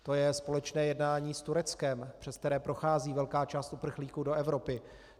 To je společné jednání s Tureckem, přes které prochází velká část uprchlíků do Evropy.